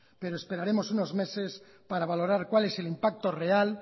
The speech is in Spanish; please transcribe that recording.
pero esperaremos unos meses para valorar cuál es el impacto real